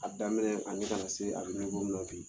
A daminɛ ani ka na se a bɛ min na bi